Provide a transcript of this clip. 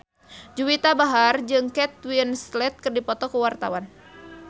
Juwita Bahar jeung Kate Winslet keur dipoto ku wartawan